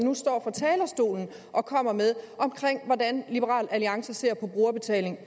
nu står fra talerstolen og kommer med om hvordan liberal alliance ser på brugerbetaling